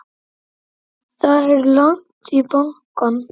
Það er langt í bankann!